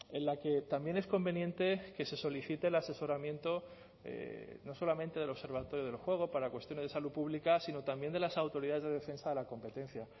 en la que también es conveniente que se solicite el asesoramiento no solamente del observatorio del juego para cuestiones de salud pública sino también de las autoridades de defensa de la competencia